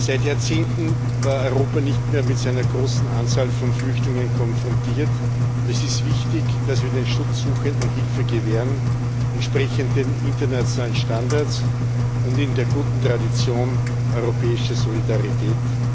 Seit Jahrzehnten war Europa nicht mehr mit so einer großen Anzahl von Flüchtlingen konfrontiert, und es ist wichtig, dass wir den Schutzsuchenden Hilfe gewähren, entsprechend den internationalen Standards und in der guten Tradition europäischer Solidarität.